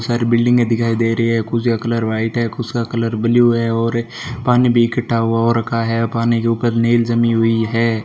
सारे बिल्डिंगे दिखाई दे रही है कुछ का कलर व्हाइट है कुछ का कलर ब्लू है और पानी भी इकठ्ठा हुआ हो रखा है पानी के ऊपर मैल जमी हुई है।